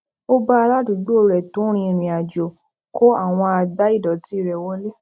ó ba aládùúgbò re to rin irinajo kó àwọn àgbá ìdòtí re wole